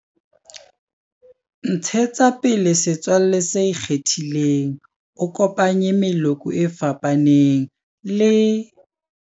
Ntshetsa pele setswalle se ikgethileng, o kopanye meloko e fapaneng, le.